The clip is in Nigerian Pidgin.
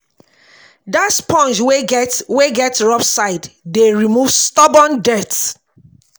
Dat sponge wey get wey get rough side dey remove stubborn dirt.